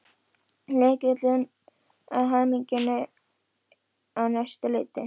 Lykillinn að hamingjunni á næsta leiti.